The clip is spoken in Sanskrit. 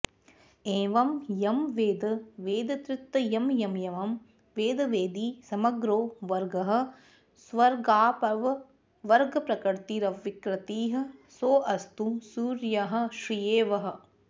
एवं यं वेद वेदत्रितयमयमयं वेदवेदी समग्रो वर्गः स्वर्गापवर्गप्रकृतिरविकृतिः सोऽस्तु सूर्यः श्रिये वः